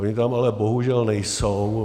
Ony tam ale bohužel nejsou.